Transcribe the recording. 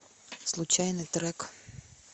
случайный трек